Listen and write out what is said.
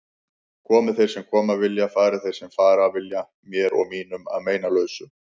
Komi þeir sem koma vilja, fari þeir sem fara vilja, mér og mínum að meinalausu.